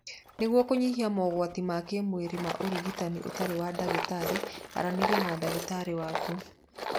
Nĩguo kũnyihia mogwati ma kĩmwĩrĩ ma ũrigitani ũtarĩ wa ndagĩtarĩ aranĩria na ndagĩtarĩ waku.